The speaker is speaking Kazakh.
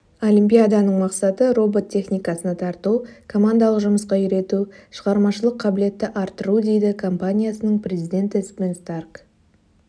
олимпиаданың мақсаты робот техникасына тарту командалық жұмысқа үйрету шығармашылық қабілетті арттыру дейді компаниясының президентіэсбен старк